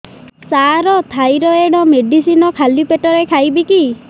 ସାର thyroid medicine ଖାଲି ପେଟରେ ଖାଇବି କି